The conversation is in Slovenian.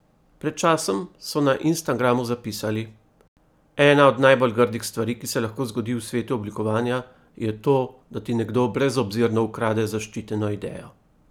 Pred časom so na Instagramu zapisali: 'Ena od najbolj grdih stvari, ki se lahko zgodi v svetu oblikovanja, je to, da ti nekdo brezobzirno ukrade zaščiteno idejo.